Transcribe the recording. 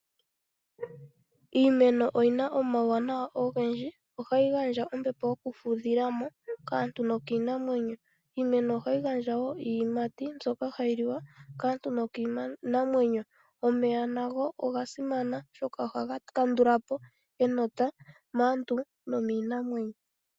Iimeno oyina omauwanawa ogendji. Oha yi gandja ombepo yoku fudhilamo kaantu nokiinamwenyo, iimeno oha yi gandja wo iiyimati mbyoka hayi liwa kaantu nokiinamwenyo. Omeya nago oga simana oshoka oha ga kandulapo enota maantu nomiinamwenyo.